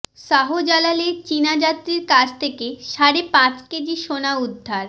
শাহজালালে চীনা যাত্রীর কাছ থেকে সাড়ে পাঁচ কেজি সোনা উদ্ধার